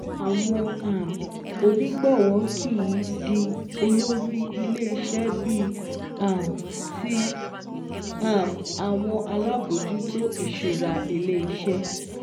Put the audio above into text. Àwọn um onígbọ̀wọ́ kìí di olórí ilé iṣẹ́ bíi um ti um àwọn alábòjútó ìṣúra ilé iṣẹ́